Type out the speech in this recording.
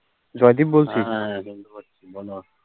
Joydeep বলচি